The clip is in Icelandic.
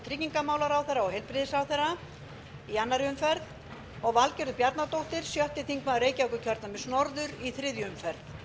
tryggingamálaráðherra og heilbrigðisráðherra í annarri umferð og valgerður bjarnadóttir sjötti þingmaður reykjavíkurkjördæmis norður í þriðju umferð